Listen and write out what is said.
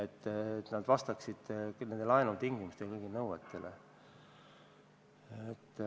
Kõik peab vastama laenutingimustele ja nõuetele.